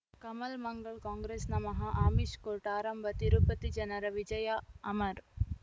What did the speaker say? ಕಮಲ್ ಮಂಗಳ್ ಕಾಂಗ್ರೆಸ್ ನಮಃ ಅಮಿಷ್ ಕೋರ್ಟ್ ಆರಂಭ ತಿರುಪತಿ ಜನರ ವಿಜಯ ಅಮರ್